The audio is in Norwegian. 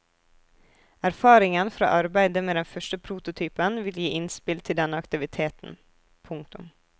Erfaringen fra arbeidet med den første prototypen vil gi innspill til denne aktiviteten. punktum